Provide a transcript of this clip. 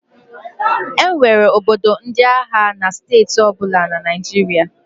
E nwere ọdọ ndị agha na steeti ọbụla na Naịjirịa.